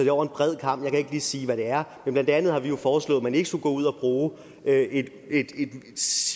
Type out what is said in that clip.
er over en bred kam jeg kan ikke lige sige hvad det er men blandt andet har vi jo foreslået at man ikke skulle gå ud og bruge et